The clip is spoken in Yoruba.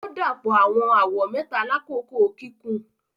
O dapọ awọn awọ mẹta lakoko kikun.